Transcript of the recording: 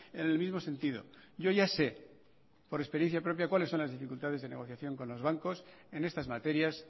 en el mismo sentido yo ya sé por experiencia propia cuáles son las dificultades de negociación con los bancos en estas materias